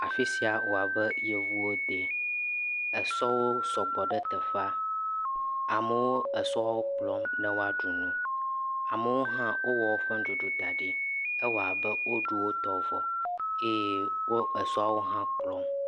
Afi sia wɔ abe yevuwode. Esɔwo sɔgbɔ ɖe teƒea. Amewo esɔwo kplɔm ne woaɖu nu. Amewo hã wowɔ woƒe nuɖuɖuwo da ɖi. Ewɔ abe woɖu wo tɔ vɔ eye wo esɔwo hã kplɔm.